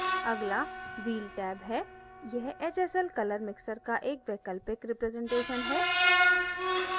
अगला wheel tab है यह hsl color mixer का एक वैकल्पिक रिप्रेजेंटेशन है